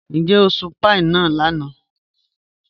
Níjẹ̀ o sùn pàíí náà lànà?